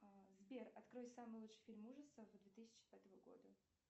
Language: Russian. сбер открой самый лучший фильм ужасов две тысячи пятого года